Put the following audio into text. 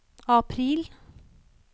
april